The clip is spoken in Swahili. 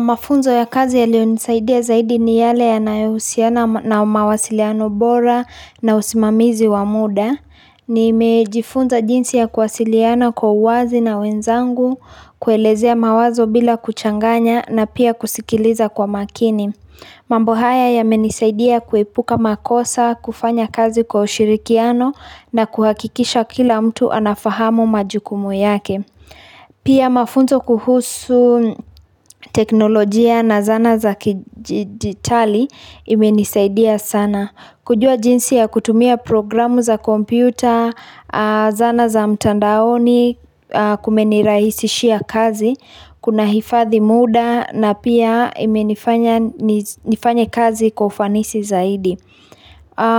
Mafunzo ya kazi yalionisaidia zaidi ni yale yanayousiana na mawasiliano bora na usimamizi wa muda. Nimejifunza jinsi ya kuwasiliana kwa uwazi na wenzangu, kuelezea mawazo bila kuchanganya na pia kusikiliza kwa makini. Mambo haya yamenisaidia kuepuka makosa, kufanya kazi kwa ushirikiano na kuhakikisha kila mtu anafahamu majukumu yake. Pia mafunzo kuhusu teknolojia na zana za kidijitali imenisaidia sana. Kujua jinsi ya kutumia programu za kompyuta, zana za mtandaoni kumenirahisishia kazi, kunahifadhi muda na pia imenifanya nifanye kazi kwa ufanisi zaidi.